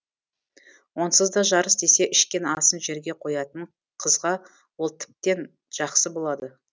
онсызда жарыс десе ішкен асын жерге қоятын қызға ол тіптен жақсы болады